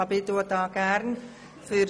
– Möchte die SiK-Minderheit sprechen?